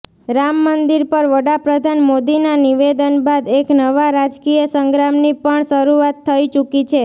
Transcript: રામમંદિર પર વડાપ્રધાન મોદીના નિવેદન બાદ એક નવા રાજકીય સંગ્રામની પણ શરૂઆત થઈ ચુકી છે